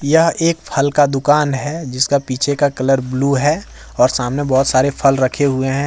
यह एक फल का दुकान है जिसका पीछे का कलर ब्लू है और सामने बहुत सारे फल रखे हुए हैं।